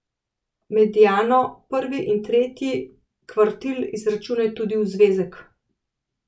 Mediano, prvi in tretji kvartil izračunaj tudi v zvezek.